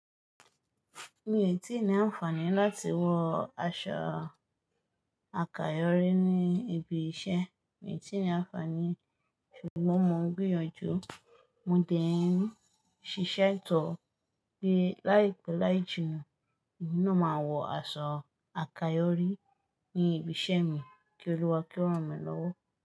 Mi ò tíì ní àǹfààní láti wọ aṣọ àkayòrí ní ibi iṣẹ́. Mi ò tíì ní àǹfààní ṣùgbọ́n mo ń gbìyànjú, mo dẹ̀ ń ṣiṣẹ́ tó pé láìpé láìjù náà, ìdí náà máa wọ aṣọ àkayòrí ní ibi iṣẹ́ mi kí Olúwa kírun mi lọ́wọ́